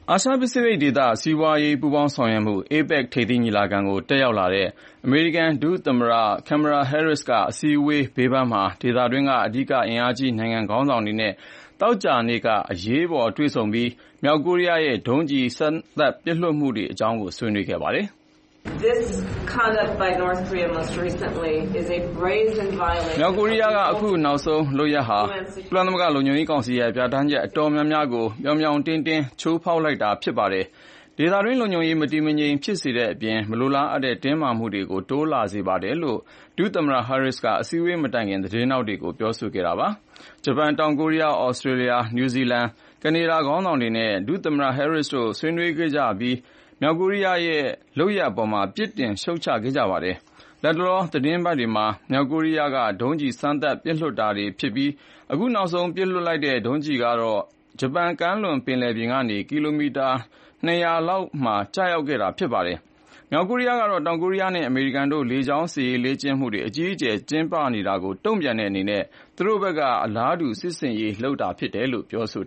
အာရှပစိဖိတ်ဒေသ စီးပွါးရေးပူးပေါင်းဆောင်ရွက်မှု APEC ထိပ်သီးညီလာခံကိုတက်ရောက်လာတဲ့ အမေရိကန်ဒုသမ္မတ Kamala Harris က အစည်းအဝေးဘေးပန်းမှာ ဒေသတွင်းက အဓိက အင်အားကြီးနိုင်ငံခေါင်းဆောင်တွေနဲ့ သောကြာနေ့က အရေးပေါ်တွေ့ဆုံပြီး မြေက်ကိုရီးယားရဲ့ ဒုံးကျည် စမ်းသပ်ပစ်လွှတ်မှုတွေအရေးဆွေးနွေးခဲ့ပါတယ်။ “ မြောက်ကိုရီးယားကခုနောက်ဆုံးလုပ်ရပ်ဟာ ကုလသမဂ္ဂလုံခြုံရေးကောင်စီရဲ့ ပြဌာန်းချက်အတော်များများကို ပြောင်ပြောင်တင်းတင်း ချိုးဖောက်လိုက်တာဖြစ်ပါတယ်။ ဒေသတွင်းလုံခြုံရေးမတည်မငြိမ်ဖြစ်စေတဲ့အပြင် မလိုလားအပ်တဲ့တင်းမာမှုတွေတိုးလာစေပါတယ်လို့ ဒုသမ္မတ Harris က အစည်းအဝေးမတိုင်ခင် သတင်းထောက်တွေကိုပြောဆိုခဲ့တာပါ။ ဂျပန်၊ တောင်ကိုရီးယား၊ သြစတေးလျ၊ နယူးဇီလန်၊ ကနေဒါခေါင်းဆောင်တွေနဲ့ ဒုသမ္မတ Harris တို့ ဆွေးနွေးခဲ့ကြပြီး မြောက်ကိုရီးယားရဲ့လုပ်ရပ်အပေါ် ပြစ်တင်ရှုတ်ချခဲ့ကြပါတယ်။ လတ်တလောသီးတင်းပတ်တွေမှာ မြောက်ကိုရီးယားက ဒုံးကျည်တွေစမ်းသပ်ပစ်လွှတ်နေတာဖြစ်ပြီး ခုနောက်ဆုံးပစ်လွှတ်လိုက်တဲ့ ဒုံးကျည်ကတော့ ဂျပန်ကမ်းလွန်ပင်လယ်ပြင်ကနေ ကီတာမီတာ ၂ ရာလောက်မှာ ကျရောက်ခဲ့တာဖြစ်ပါတယ်။ မြောက်ကိုရီးယားကတော့ တောင်ကိုရီးယားနဲ့ အမေရိကန်တို့ လေကြောင်းစစ်ရေးလေ့ကျင့်မှုတွေအကြီးအကျယ်ကျင်းပနေတာကိုတုန့်ပြန်တဲ့အနေနဲ့ သူတို့ဖက်ကလည်း အလားတူစစ်ဆင်ရေးလုပ်ကိုင်တာလို့ ပြောဆို